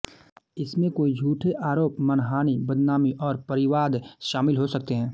इसमें कोई झूठे आरोप मानहानि बदनामी और परिवाद शामिल हो सकते हैं